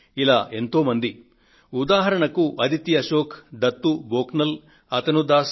ఇలా ఎంతో మంది ఉదాహరణకు అదితి అశోక్ దత్తూ బోక్నల్ అతనూ దాస్